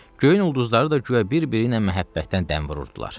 Göyün ulduzları da güya bir-biri ilə məhəbbətdən dəm vururdular.